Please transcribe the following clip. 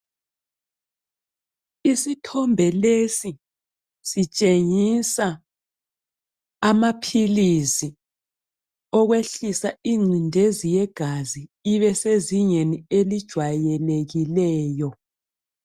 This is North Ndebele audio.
Isithombe lesi sitshengisa amaphilisi okwehlisa ingcindezi yegazi ibesezingeni elijwayelekileyo.